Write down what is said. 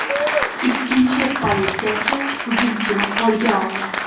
Ikkinchi politsiyachi hujumchini qo‘lga oldi.